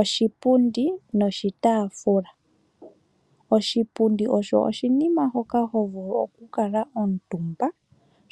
Oshipundi noshitaafula, oshipundi osho oshinima hoka hovulu oku kala omutumba ,